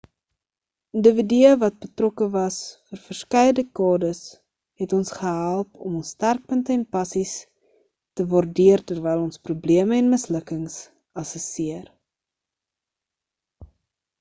individue wat betrokke was vir verskeie dekades het ons gehelp om ons sterkpunte en passies te waardeer terwyl ons probleme en mislukkings assesseer